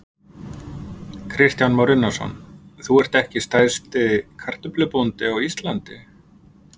Kristján Már Unnarsson: Þú ert ekki stærsti kartöflubóndi á Íslandi?